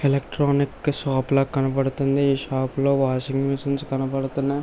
electronic shop లాగా కనపడుతుంది ఈ షాపులో వాషింగ్ మిషన్స్ కనబడుతున్నా --